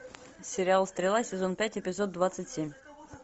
сериал стрела сезон пять эпизод двадцать семь